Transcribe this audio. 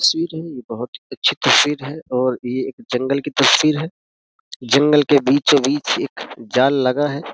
तस्वीर है और ये बहोत अच्छी तस्वीर है और ये एक जंगल की तस्वीर है। जंगल के बीचो बीच एक जाल लगा है।